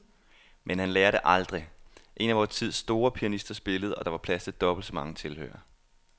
Men han lærer det aldrig. En af vor tids store pianister spillede, og der var plads til dobbelt så mange tilhørere.